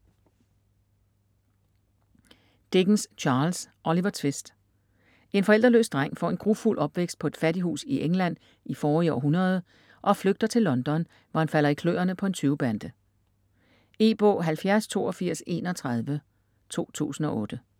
Dickens, Charles: Oliver Twist En forældreløs dreng får en grufuld opvækst på et fattighus i England i forrige århundrede og flygter til London, hvor han falder i kløerne på en tyvebande. E-bog 708231 2008.